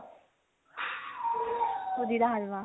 ਸੂਜੀ ਦਾ ਹਲਵਾ